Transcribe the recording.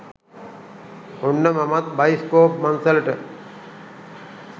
ඔන්න මමත් බයිස්කෝප් මංසලට